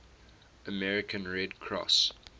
american red cross